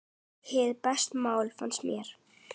Hið besta mál, fannst mér.